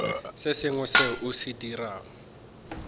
sengwe seo o se dirago